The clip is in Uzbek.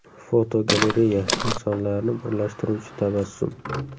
Fotogalereya: Insonlarni birlashtiruvchi tabassum.